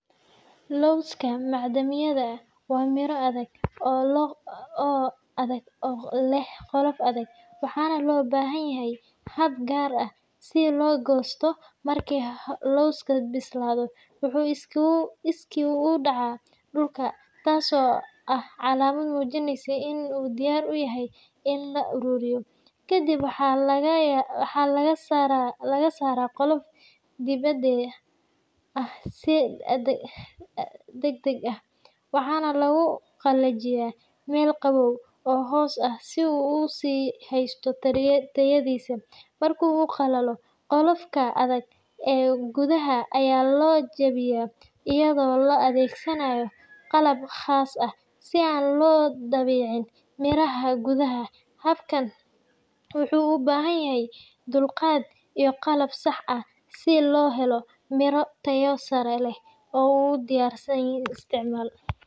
Lawska macdamiyada waa miro adag oo leh qolof adag, waxaana loo baahan yahay hab gaar ah si loo goosto. Marka lawska bislaado, wuxuu iskii uga dhacaa dhulka, taasoo ah calaamad muujinaysa in uu diyaar u yahay in la ururiyo. Kadib waxaa laga saaraa qolofka dibedda ah si degdeg ah, waxaana lagu qalajiyaa meel qabow oo hoos ah si uu u sii haysto tayadiisa. Marka uu qalalo, qolofka adag ee gudaha ayaa la jebiyaa iyadoo la adeegsanayo qalab khaas ah si aan loo dhaawicin miraha gudaha. Habkani wuxuu u baahan yahay dulqaad iyo qalab sax ah si loo helo miro tayo sare leh oo u diyaarsan isticmaal.